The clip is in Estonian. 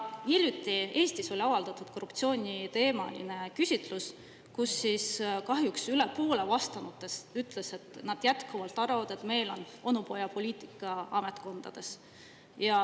Hiljuti Eestis avaldati korruptsiooniteemaline küsitlus, kus kahjuks üle poole vastanutest ütles, et nad jätkuvalt arvavad, et meil on onupojapoliitika ametkondades.